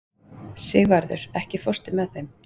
Sigvarður, ekki fórstu með þeim?